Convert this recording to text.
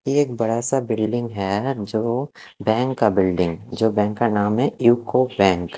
ये एक बड़ा सा बिल्डिंग है जो बैंक का बिल्डिंग जो बैंक का नाम है यूको बैंक ।